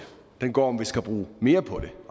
den går på om vi skal bruge mere på det